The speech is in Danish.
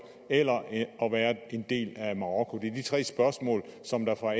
eller at være en del af marokko det er de tre spørgsmål som der fra